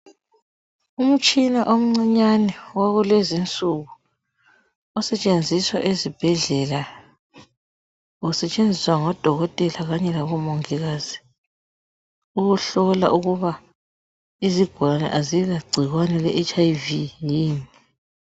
umtshina omncinyane wakulezinsuku osetshenziswa ezibhedlela usetshenziswa ngodokotela kanye labomongikazi ukuhlola ukuba izigulane azila gcikwane le HIV yini